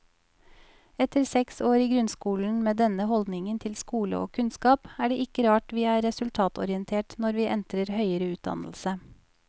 Etter seks år i grunnskolen med denne holdningen til skole og kunnskap er det ikke rart vi er resultatorientert når vi entrer høyere utdannelse.